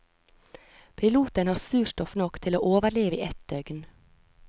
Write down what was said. Piloten har surstoff nok til å overleve i ett døgn.